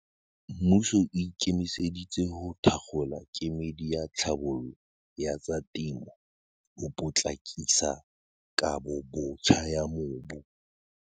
Mmuso o ikemiseditse ho thakgola kemedi ya tlhabollo ya tsa temo ho potlakisa kabobotjha ya mobu.